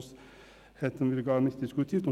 Sonst würden wir dies nicht tun.